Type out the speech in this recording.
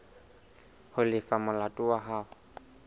ho lefa molato wa hao